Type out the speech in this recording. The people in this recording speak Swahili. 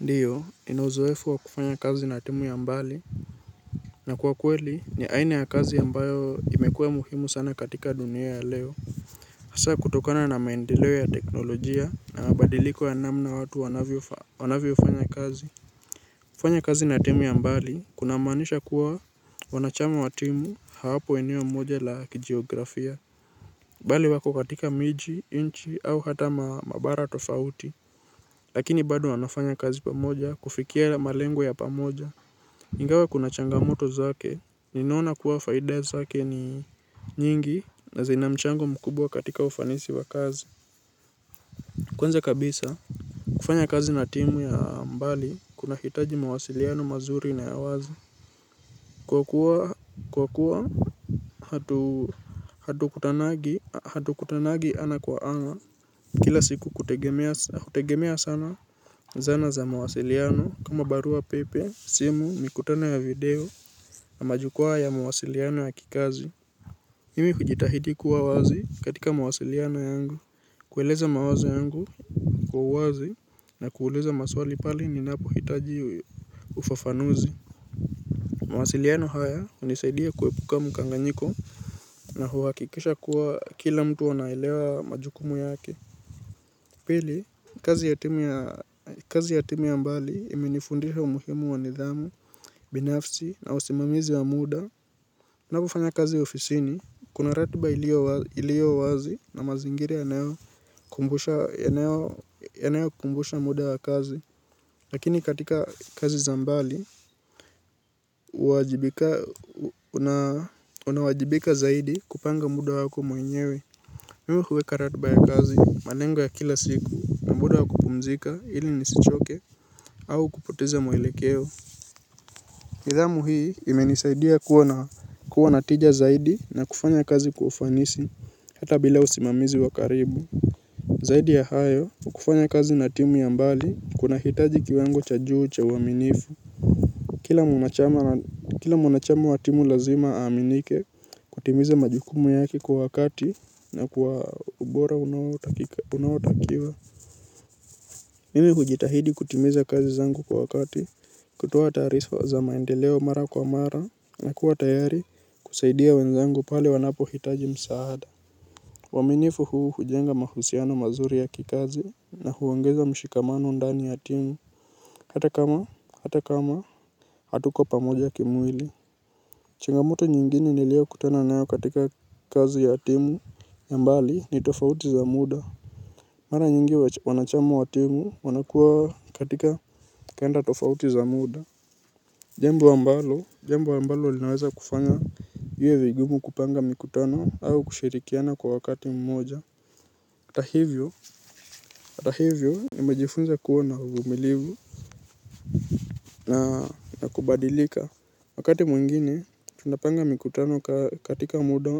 Ndiyo nina uzoefu wa kufanya kazi na timu ya mbali. Na kwa kweli ni aina ya kazi ambayo imekuwa muhimu sana katika dunia ya leo hasa kutokana na maendeleo ya teknolojia na mabadiliko ya namna watu wanavyo fanya kazi. Kufanya kazi na timu ya mbali kuna maanisha kuwa wanachama wa timu hawapo eneo moja la kijiografia bali wako katika miji nchi au hata mabara tofauti. Lakini bado wanafanya kazi pamoja kufikia malengo ya pamoja ingawa kuna changamoto zake, ninaona kuwa faida zake ni nyingi na zina mchango mkubwa katika ufanisi wa kazi. Kwanza kabisa, kufanya kazi na timu ya mbali, kuna hitaji mawasiliano mazuri na ya wazi. Kwa kuwa, kwa kuwa, hatukutanangi, hatukutanangi ana kwa ana, kila siku hutegemea sana zana za mawasiliano, mawasiliano kama barua pepe, simu, mikutano ya video. Na majukwaa ya mawasiliano ya kikazi. Mimi hujitahidi kuwa wazi katika mawasiliano yangu. Kueleza mawazo yangu kwa uwazi na kuuliza maswali pahali ni napo hitaji ufafanuzi. Mawasiliano haya hunisaidia kuepuka mkanganyiko na huhakikisha kuwa kila mtu anaelewa majukumu yake. Pili, kazi ya timu ya mbali imenifundisha umuhimu wa nidhamu, binafsi na usimamizi wa muda. Ninapo fanya kazi ofisini, kuna ratiba iliyo wazi na mazingira yanayo kumbusha muda wa kazi. Lakini katika kazi za mbali, unawajibika zaidi kupanga muda wako mwenyewe. Mimi huweka ratiba ya kazi malengo ya kila siku muda wa kupumzika ili nisichoke au kupoteza mwelekeo. Nidhamu hii imenisaidia kuwa na kuwa na tija zaidi na kufanya kazi kwa ufanisi hata bila usimamizi wa karibu. Zaidi ya hayo kufanya kazi na timu ya mbali kuna hitaji kiwango cha juu cha uaminifu. Kila mwanachama wa timu lazima aaminike kutimiza majukumu yake kwa wakati na kwa ubora unaotakiwa. Mimi hujitahidi kutimiza kazi zangu kwa wakati kutoa taari za maendeleo mara kwa mara na kuwa tayari kusaidia wenzangu pale wanapo hitaji msaada uaminifu huu hujenga mahusiano mazuri ya kikazi na huongeza mshikamano ndani ya timu. Hata kama hata kama hatuko pamoja kimwili changamoto nyingine nilyokutana nayo katika kazi ya timu ya mbali ni tofauti za muda. Mara nyingi wana chama wa timu wanakuwa katika kenda tofauti za muda. Jambu ambalo, jambo ambalo linaweza kufanya iwe vigumu kupanga mikutano au kushirikiana kwa wakati mmoja hata hivyo, hata hivyo nimejifunza kuwa na uvumilivu na kubadilika. Wakati mwingine, tunapanga mikutano katika muda